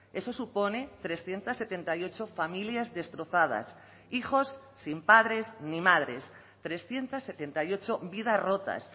eso supone trescientos setenta y ocho familias destrozadas hijos sin padres ni madres trescientos setenta y ocho vidas rotas